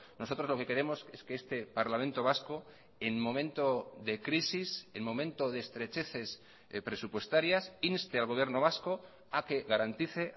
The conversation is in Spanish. nosotros lo que queremos es que este parlamento vasco en momento de crisis en momento de estrecheces presupuestarias inste al gobierno vasco a que garantice